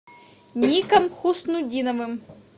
ником хуснутдиновым